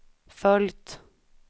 följt